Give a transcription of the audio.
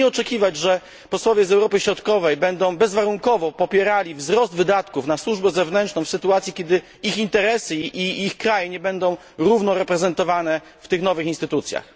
Proszę nie oczekiwać, że posłowie z Europy Środkowej będą bezwarunkowo popierali wzrost wydatków na służbę zewnętrzną w sytuacji, kiedy ich interesy i ich kraje nie będą równo reprezentowane w tych nowych instytucjach.